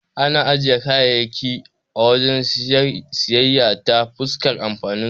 Ana jera kayayyaki a wajen siyayya ta fuskar amfaninsu.